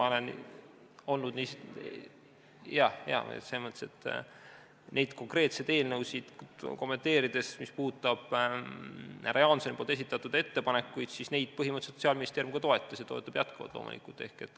Kui neid konkreetseid eelnõusid kommenteerida, siis mis puudutab härra Jaansoni esitatud ettepanekuid, siis neid põhimõtteliselt Sotsiaalministeerium toetas ja toetab loomulikult jätkuvalt.